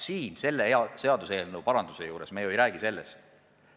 Aga selle seadusmuudatuse juures me ju ei räägi sellest.